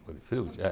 Eu falei, Freude? É